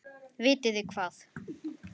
Vitið þið hvað.